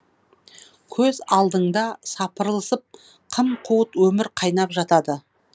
көз алдыңда сапырылысып қым қуыт өмір қайнап жатады